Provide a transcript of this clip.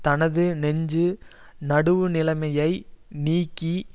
தனது நெஞ்சு நடுவுநிலைமையை நீக்கி